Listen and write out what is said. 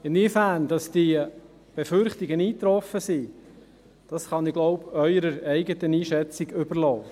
Inwiefern diese Befürchtungen eingetroffen sind, kann ich, so glaube ich, Ihrer Einschätzung überlassen.